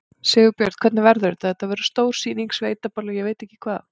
Sigurbjörn, hvernig verður þetta, þetta verður stór sýning, sveitaball og ég veit ekki hvað?